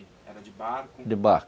Era de barco? de barco.